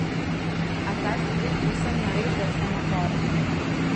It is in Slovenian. A zdaj sem res povsem nared za vse napore.